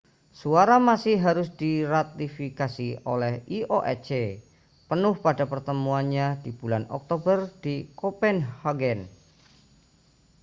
suara masih harus diratifikasi oleh ioc penuh pada pertemuannya di bulan oktober di kopenhagen